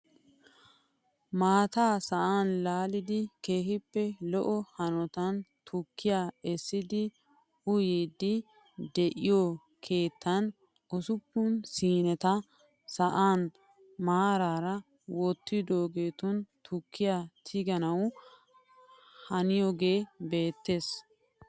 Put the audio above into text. Maataa sa'an laalidi kkehippe lo"o hanotaan tukkiyaa eessidi uyiidi de'iyoo keettan usuppun siineta sa'aan maarar wottidoogetun tukkiyaa tiganawu haniyoogee beettees!